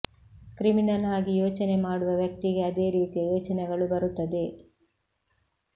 criminal ಆಗಿ ಯೋಚನೆ ಮಾಡುವ ವ್ಯಕ್ತಿಗೆ ಅದೇ ರೀತಿಯ ಯೋಚನೆಗಳು ಬರುತ್ತದೆ